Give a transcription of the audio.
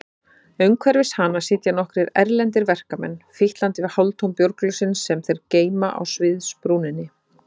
Umhverfis hana sitja nokkrir erlendir verkamenn, fitlandi við hálftóm bjórglösin sem þeir geyma á sviðsbrúninni.